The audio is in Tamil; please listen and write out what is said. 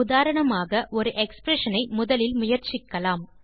உதாரணமாக ஒரு எக்ஸ்பிரஷன் ஐ முதலில் முயற்சிக்கலாம்